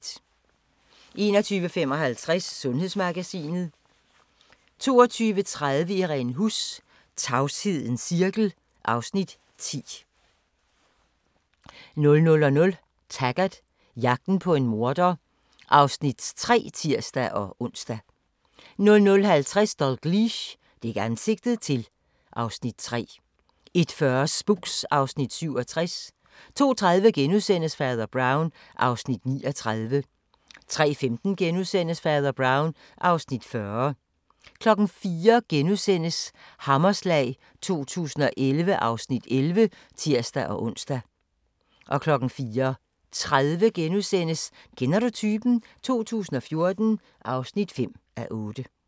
21:55: Sundhedsmagasinet 22:30: Irene Huss: Tavshedens cirkel (Afs. 10) 00:00: Taggart: Jagten på en morder (Afs. 3)(tir-ons) 00:50: Dalgliesh: Dæk ansigtet til (Afs. 3) 01:40: Spooks (Afs. 67) 02:30: Fader Brown (Afs. 39)* 03:15: Fader Brown (Afs. 40)* 04:00: Hammerslag 2011 (Afs. 11)*(tir-ons) 04:30: Kender du typen? 2014 (5:8)*